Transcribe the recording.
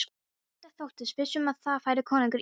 Bóndi þóttist viss um að þar færi konungur Íslands.